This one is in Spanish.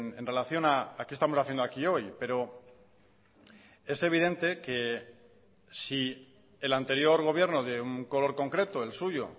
en relación a qué estamos haciendo aquí hoy pero es evidente que si el anterior gobierno de un color concreto el suyo